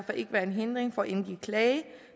ikke være en hindring for at indgive klage